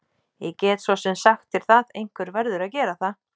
Ég get svo sem sagt þér það, einhver verður að gera það.